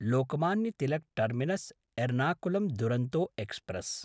Lokmanya Tilak टर्मिनस्–एर्नाकुलं Duronto express